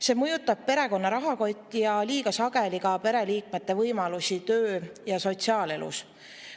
See mõjutab perekonna rahakotti ja liiga sageli ka pereliikmete võimalusi töö‑ ja sotsiaalelus.